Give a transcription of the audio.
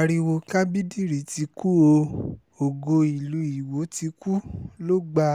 ariwo kábídírí ti kù oòó ògo ìlú iwọ ti kú ló gba